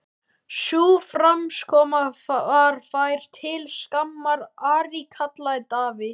Sú framkoma var þér til skammar, Ari, kallaði Daði.